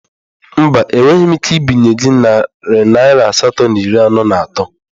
Mba, enweghị m ike ibinye gị narị naira asatọ na iri anọ na atọ